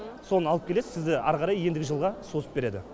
соны алып келесіз сізді ары қарай ендігі жылға созып береді